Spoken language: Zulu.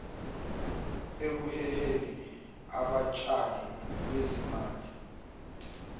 ekuheheni abatshali bezimali